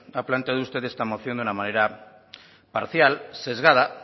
ha planteado usted esta moción de una manera parcial sesgada